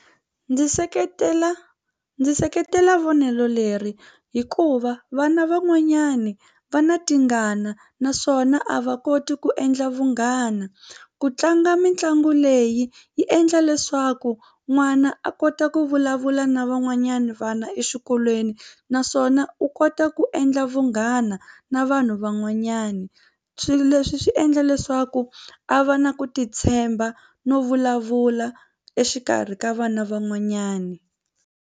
Ndzi seketela ndzi seketela vonelo leri hikuva vana van'wanyani va na tingana naswona a va koti ku endla vunghana ku tlanga mitlangu leyi yi endla leswaku n'wana a kota ku vulavula na van'wanyana vana exikolweni naswona u kota ku endla vunghana na vanhu van'wanyana swilo leswi swi endla leswaku a va na ku titshemba no vulavula exikarhi ka vana van'wanyani.